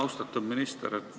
Austatud minister!